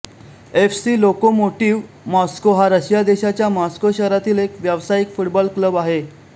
F C Lokomotiv Moscow हा Russia देशाच्या Moscow शहरामधील एक व्यावसायिक फुटबॉल क्लब आहे